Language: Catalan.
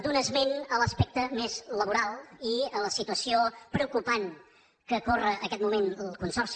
d’un esment a l’aspecte més laboral i a la situació preocupant que corre en aquest moment el consorci